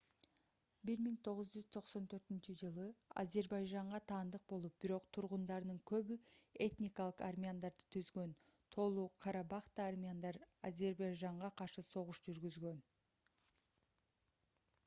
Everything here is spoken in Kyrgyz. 1994-жылы азербайжанга таандык болуп бирок тургундарынын көбү этникалык армяндарды түзгөн тоолу-карабахта армяндар азербайжанга каршы согуш жүргүзгөн